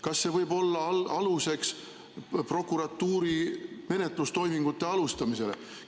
Kas see võib olla aluseks prokuratuuri menetlustoimingute alustamisele?